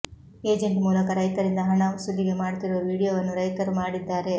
agent ಮೂಲಕ ರೈತರಿಂದ ಹಣ ಸುಲಿಗೆ ಮಾಡ್ತಿರೊ ವಿಡಿಯೋವನ್ನು ರೈತರು ಮಾಡಿದ್ದಾರೆ